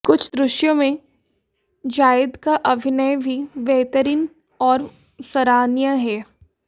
कुछ दृश्यों में जाएद का अभिनय भी बेहतरीन और सराहनीय है